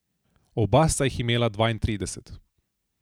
Oba sta jih imela dvaintrideset.